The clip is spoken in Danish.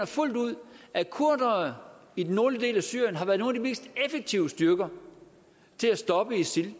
fuldt ud at kurdere i den nordlige del af syrien har været nogle af de mest effektive styrker til at stoppe isil